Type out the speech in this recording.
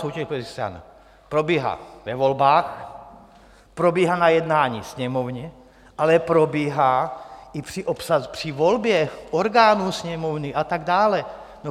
Soutěž politických stran probíhá ve volbách, probíhá na jednání Sněmovny, ale probíhá i při volbě orgánů Sněmovny a tak dále.